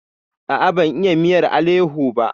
A'a, ban iya miyar aleho ba.